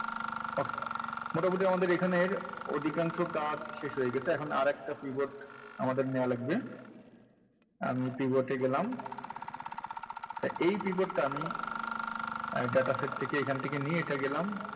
মোটামটি আমাদের এখানের অধিকাংশ কাজ শেষ হয়ে গেছে এখন আরেকটা keyboard আমাদের নেওয়া লাগবে আমি keuboard এ গেলাম তা এই keyboard টা আমি data sheet থেকে নিয়ে এখান থেকে গেলাম,